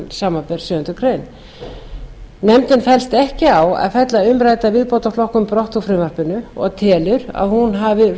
samkvæmt sjöundu greinar nefndin fellst ekki á að fella umrædda viðbótarflokkun brott úr frumvarpinu og telur að hún hafi